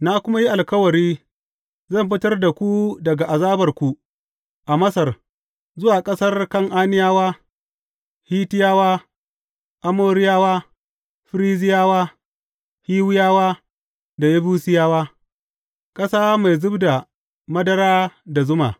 Na kuma yi alkawari, zan fitar da ku daga azabarku a Masar zuwa ƙasar Kan’aniyawa, Hittiyawa, Amoriyawa, Ferizziyawa, Hiwiyawa da Yebusiyawa, ƙasa mai zub da madara da zuma.’